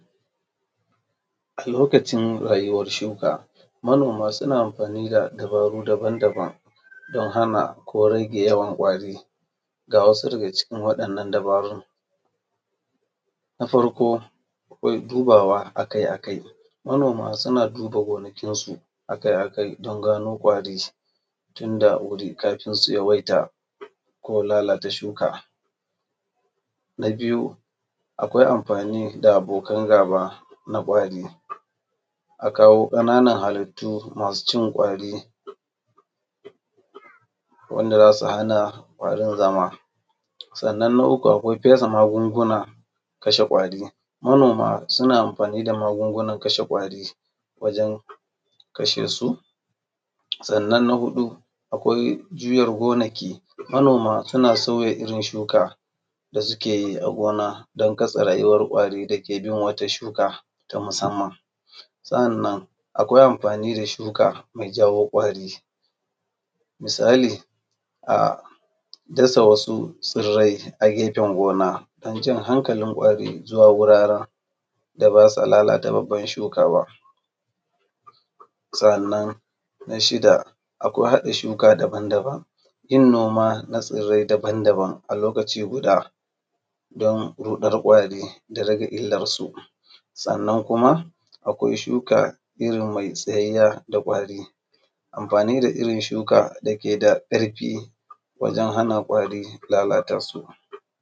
A lokacin rayuwar shuka. Manoma suna amfani da dabaru dabam dabam don hana ko rage yawan ƙwari, ga wasu daga cikin wadannan dabarun: Na farko akwai duba akai akai, manoma su na duba gonakinsu akai don gano kwari tun da wuri kafin sun yawaita ko lalata shuka. Na biyu kawai amfani da abokan gaba na ƙwari, a kawo ƙananan hallitu masu cin ƙwari, wanda za su hana ƙwarin zama. Sannan na uku akwa fesa magungunan kashe kwari, manoma suna amfani da magungunan kashe ƙwari wajen kashesu. Sannan na huɗu akwai juyar gonaki, manoma suna sauya irin shuka da suke yi a gona don katse rayuwar ƙwari dake bin wata shuka ta musamman. Sa’annan akwai amfani da shuka mai jawo ƙwari. Misali, a dasa wasu tsirai a gefen gona don jan hankalin kwari zuwa wuraren da ba za su lalata babban shuka ba. Sa’anan na shida, akwai hada shuka dabam dabam, yin noma na tsirai dabam-dabam a lokaci guda don rudar ƙwari da rage ilarsu. Sannan kuma akwai shuka irin mai tsayayyer da ƙwari, amfani da irin shuka dake da ƙarfi wajen hana ƙwari lalatasu.